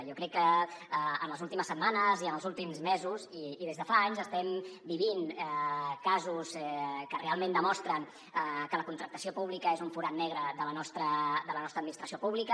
jo crec que en les últimes setmanes i en els últims mesos i des de fa anys estem vivint casos que realment demostren que la contractació pública és un forat negre de la nostra administració pública